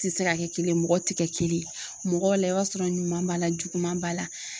Ti se ka kɛ kelen ye mɔgɔw ti kɛ kelen ye mɔgɔw la i b'a sɔrɔ ɲuman b'a la juguman b'a la